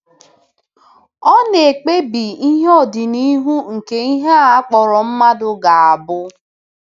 Ọ na-ekpebi ihe ọdịnihu nke ihe a kpọrọ mmadụ ga-abụ.